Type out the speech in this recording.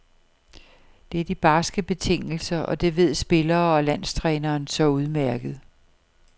Det er de barske betingelser, og det ved spillere og landstræneren så udmærket.